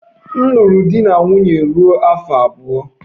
M lụrụ di na nwunye ruo afọ abụọ.